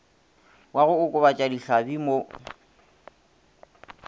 wa go okobatša dihlabi mo